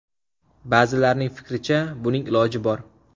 Ba’zilarning fikricha, buning iloji bor.